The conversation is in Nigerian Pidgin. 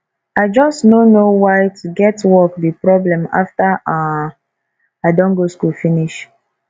i just no know why to get work be problem after um i don go school finish